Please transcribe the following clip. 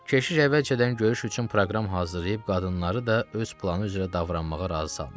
Keşiş əvvəlcədən görüş üçün proqram hazırlayıb qadınları da öz planı üzrə davranmağa razı salmışdı.